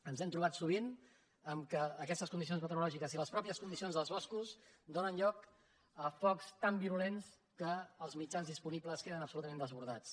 ens hem trobat sovint amb el fet que aquestes condicions meteorològiques i les matei·xes condicions dels boscos donen lloc a focs tan viru·lents que els mitjans disponibles queden absolutament desbordats